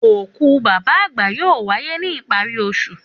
Òkú bàbá àgbà yóò wáyé ní ìparí osù.